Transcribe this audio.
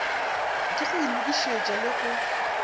ke go lokišetša le go